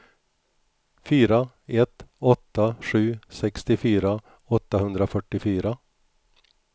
fyra ett åtta sju sextiofyra åttahundrafyrtiofyra